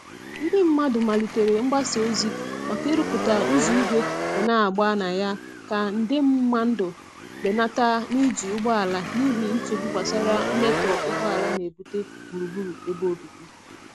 Ndị mmadụ malitere mgbasa ozi maka iruputa ụzọ igwe ga n'agba na ya ka nde mmandu benata i n'eji ụgbọala n'ihi nchegbu gbasara mmetọ ugboala nebute gburugburu ebe obibi.